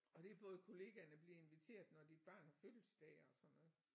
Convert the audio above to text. Og det er både kollegaerne bliver inviteret når dit barn har fødselsdag og sådan noget